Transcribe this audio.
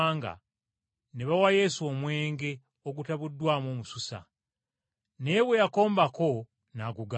ne bawa Yesu wayini atabuddwamu omususa, naye bwe yakombako n’amugaana.